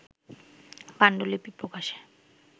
পান্ডুলিপি প্রকাশে